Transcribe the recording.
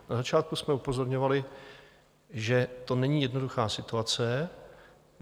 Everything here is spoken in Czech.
Na začátku jsme upozorňovali, že to není jednoduchá situace.